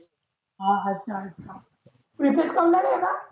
हा नाहीए ना?